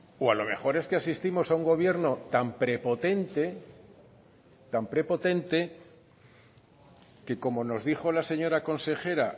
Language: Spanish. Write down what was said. o a lo mejor es que asistimos a un gobierno tan prepotente tan prepotente que como nos dijo la señora consejera